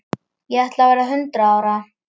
Ég ætla að verða hundrað ára.